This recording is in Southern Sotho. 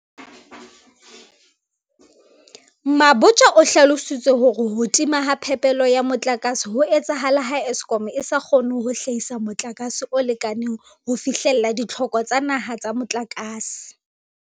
Mabotja o hlalositse ka hore ho timatima ha phepelo ya motlakase ho etsahala ha Eskom e sa kgone ho hlahisa motlakase o lekaneng ho fihlella ditlhoko tsa naha tsa motlakase.